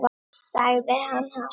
sagði hann hátt.